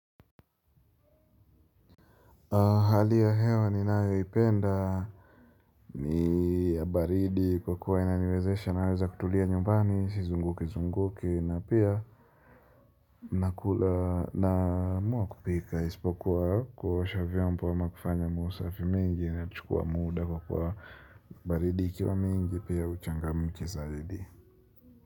Hali ya hewa ni nayo ipenda ni baridi kwa kuwa inaniwezesha naweza kutulia nyumbani si zunguki zunguki na pia nakula naamwa kupika isipokuwa kuosha viombo ama kufanya mausafi mingi inani chukua muda kwa kuwa baridi ikiwa mingi pia huchangamki zaidi.